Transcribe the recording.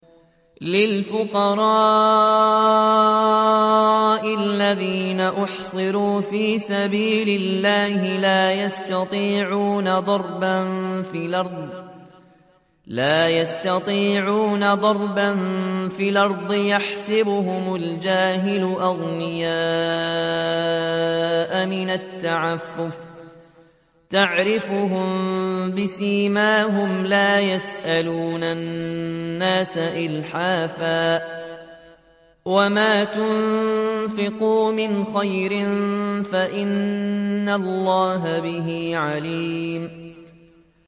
لِلْفُقَرَاءِ الَّذِينَ أُحْصِرُوا فِي سَبِيلِ اللَّهِ لَا يَسْتَطِيعُونَ ضَرْبًا فِي الْأَرْضِ يَحْسَبُهُمُ الْجَاهِلُ أَغْنِيَاءَ مِنَ التَّعَفُّفِ تَعْرِفُهُم بِسِيمَاهُمْ لَا يَسْأَلُونَ النَّاسَ إِلْحَافًا ۗ وَمَا تُنفِقُوا مِنْ خَيْرٍ فَإِنَّ اللَّهَ بِهِ عَلِيمٌ